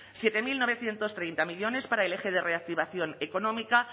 siete mil novecientos treinta millónes para el eje de reactivación económica